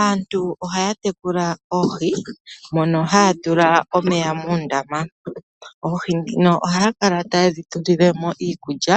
Aantu ohaya tekula oohi mono haya tula omeya muundama. Oohi ndhino ohaya kala taye dhi tutilemo iikulya